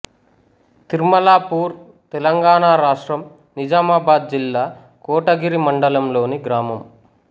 తిర్మలాపూర్ తెలంగాణ రాష్ట్రం నిజామాబాద్ జిల్లా కోటగిరి మండలంలోని గ్రామం